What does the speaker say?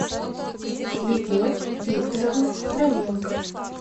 любовь викторовна хроменко